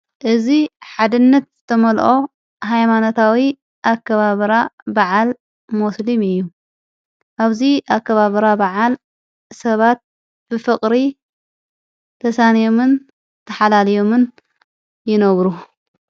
እዚ ሓድነት ዝተመልኦ ሃይማነታዊ ኣከባብራ በዓል ሞስልም እዩ ኣብዙይ ኣከባብራ በዓል ሰባት ብፍቕሪ ተሳንዮምን ተኃላልዮምን ይነብሩ::